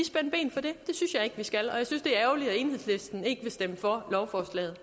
skal at enhedslisten ikke vil stemme for lovforslaget